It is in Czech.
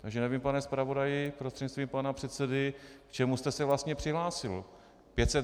Takže nevím, pane zpravodaji prostřednictvím pana předsedy, k čemu jste se vlastně přihlásil.